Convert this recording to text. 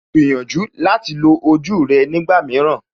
Gbìyànjú láti lo ojú rẹ nígbà mìíràn